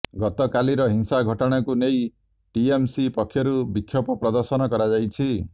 ଗତକାଲିର ହିଂସା ଘଟଣାକୁ ନେଇ ଟିଏମସି ପକ୍ଷରୁ ବିକ୍ଷୋଭ ପ୍ରଦର୍ଶନ କରାଯାଇଛି